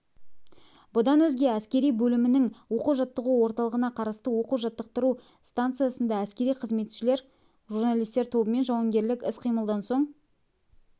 бұдан өзге әскери бөлімінің оқу-жаттығу орталығына қарасты оқу-жаттықтыру станциясында әскери қызметшілер журналистер тобымен жауынгерлік іс-қимылдан соң